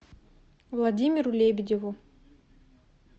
владимиру лебедеву